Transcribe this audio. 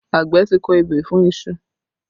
Àgbẹ̀ ti kọ ebè fún iṣu